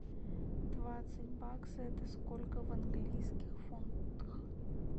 двадцать баксов это сколько в английских фунтах